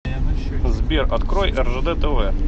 сбер открой ржд тв